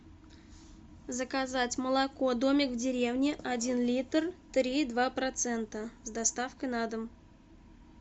заказать молоко домик в деревне один литр три и два процента с доставкой на дом